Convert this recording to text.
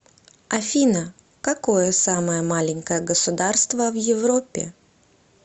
афина какое самое маленькое государство в европе